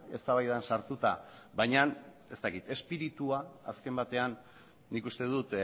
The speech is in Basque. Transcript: eztabaidan sartuta baina ez dakit espiritua azken batean nik uste dut